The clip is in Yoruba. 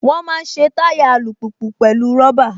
Wọ́n máa ń ṣe táyà alùpùpù pẹ̀lú rọ́bà